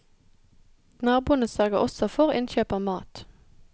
Naboene sørger også for innkjøp av mat.